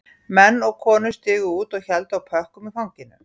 Menn og konur stigu út og héldu á pökkum í fanginu